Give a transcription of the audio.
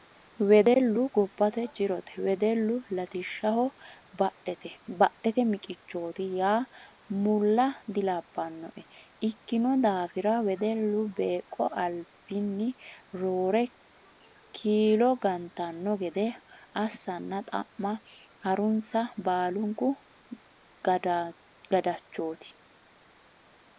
Wedellu gobbate jirote wedellu latishshaho badhete miqichoti yaa mulla dilabbanoe ikkino daafira wedellu beeqo albinni roore kiilo gantanno gede assanna xa'ma harunsa baallunku gadachoti.